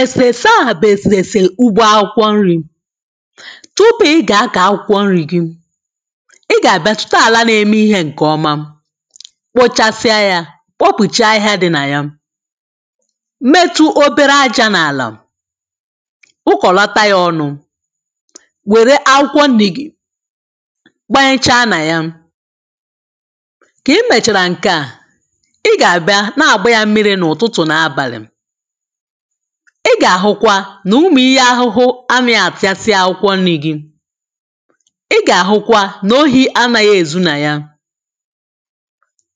Èsèrèse à bụ̀ èsèrèsè ugbo akwụkwọ nrī. tupuu ị gà-akọ̀ akwụkwọ nrī gị, ị gà-àbịa chọta àla na-eme ihē ǹkè ọma, kpochasịa yā, kpokpùcha ahịhịa dị̄ nà ya, metụ obere ajā n’àlà, kpukọ̀lata yā ọnụ̄, wère akwụkwọ nnī gì gbanyecha nà ya. kà ị mèchàrà ǹke à, ị gà-àbịa na-àgba yā mmirī n’ụ̀tụtụ̀ nà abàlị̀. ị gà-àhụkwa nà ụmụ ihe ahụhụ anāghị àfịasịa akwụkwọ nnī gị. ị gà-àhụkwa nà ohī anāghị èzu nà ya.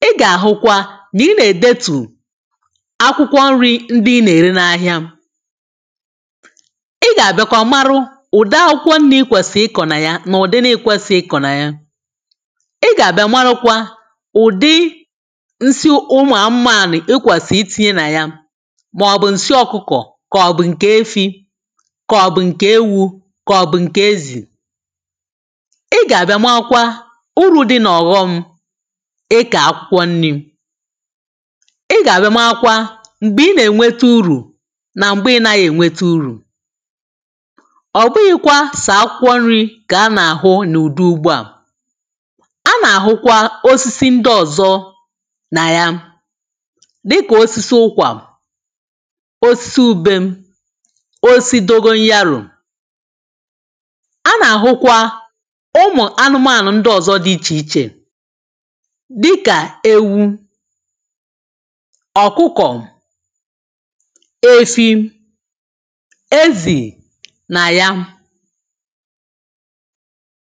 ị gà-àhụkwa nà ị nà-èdetù akwụkwọ nrī ndị ị nà-ère n’ahịa. ị gà-àbịakwa marụ ụ̀dị akwụkwọ nnī ị kwèsì ịkọ̀ nà ya nà ụ̀dị na ikwēsighị ịkọ̀ nà ya. ị gà-àbịa marụkwa ụ̀dị nsị ụmụ̀ amụànị̀ ikwèsì itīnyi nà ya màọ̀bụ̀ ǹsị ọkụkọ̀ kàọ̀bụ̀ ǹkè efī kàọ̀bụ̀ ǹkè ewū, kàọ̀bụ̀ ǹkè ezì. ị gà-àbịa maakwa urū dị̄ nà ọ̀ghọm ịkọ̀ akwụkwọ nnī. ị gà-àbịa maakwa m̀gbè ị nà-èweta urù nà m̀gbè ị naghị̄ èweta urù. ọ̀bụghị̄kwa sọ̀ akwụkwọ nrī kà anà-àhụ n’ụ̀dị ugbo à. anà-àhụkwa osisi ndị ọ̀zọ nà ya dị kà osisi ụkwà, osisi ubem, osisi dogonyarò. anà-àhụkwa ụmụ̀ anụmanụ̀ ndị ọ̀zọ dị̄ ichè ichè dị kà ewu, ọ̀kụkọ̀, efi, ezì nà ya